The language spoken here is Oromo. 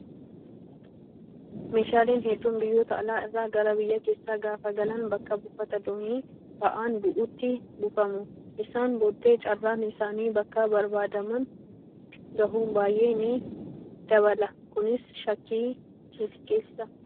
Meeshaaleen hedduun biyyoota alaa irraa gara biyya keessaa gaafa galan bakka buufata doonii ba'aan bu'utti buufamu. Isaan booddee carraan isaan bakka barbaadaman gahuu baay'ee ni dabala Kunis shakkii ni xiqqeessa.